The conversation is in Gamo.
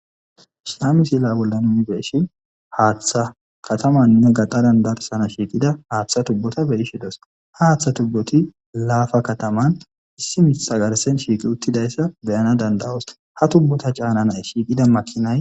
ha misila bolla nunibeeshi haaththa katamannne gaqadandarsana shiiqida haaththa tubbota beishe dos ha haaththa tubboti laafa kataman issi misagarsen shiiqi uttidayssa beyana dandawosta ha tubbota caana nay shiiqida makinay